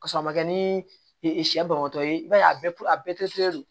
K'a sɔrɔ a ma kɛ ni sɛ banbatɔ ye i b'a ye a bɛɛ len do